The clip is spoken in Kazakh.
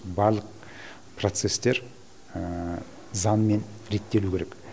барлық процестер заңмен реттелуі керек